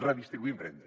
redistribuïm renda